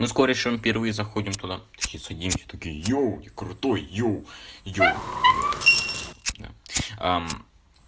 мы с корешем впервые заходим туда такие садимся такие йоу я крутой йоу йоу йоу да да